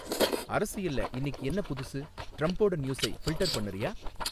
அரசியல்ல இன்னிக்கு என்ன புதுசு ட்ரம்ப்போட நியூஸை ஃபில்ட்டர் பண்ணுறியா?